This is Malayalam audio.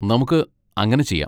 നമുക്ക് അങ്ങനെ ചെയ്യാം.